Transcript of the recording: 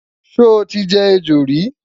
sho tí jẹ ẹjọ rí?